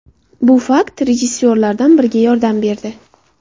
Bu fakt rejissyorlardan biriga yordam berdi.